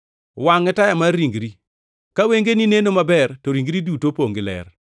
“Wangʼ e taya mar ringri. Ka wengeni neno maber to ringri duto opongʼ gi ler.